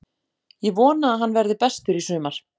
Ég vona að hann verði bestur í sumar.